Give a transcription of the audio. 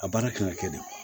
A baara kan ka kɛ de